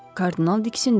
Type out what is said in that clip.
Kardinal diksindi.